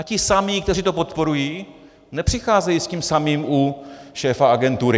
A ti samí, kteří to podporují, nepřicházejí s tím samým u šéfa agentury.